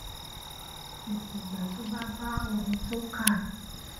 kìkì ìgbà tó bá bá ohun tó kà